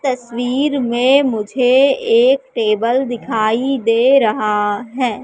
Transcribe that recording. तस्वीर में मुझे एक टेबल दिखाई दे रहा है।